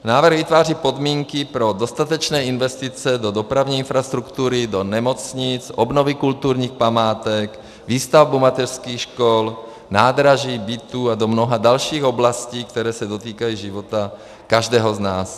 Návrh vytváří podmínky pro dostatečné investice do dopravní infrastruktury, do nemocnic, obnovy kulturních památek, výstavbu mateřských škol, nádraží, bytů a do mnoha dalších oblastí, které se dotýkají života každého z nás.